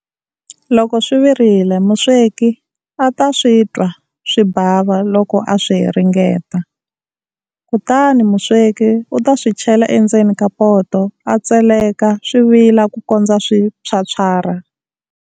Loko swi virile musweki a ta swi twa swi bava loko a swi ringeta. Kutani musweki u ta swi chela endzeni ka poto a tseleka swi vila ku kondza swi phyaphyarha.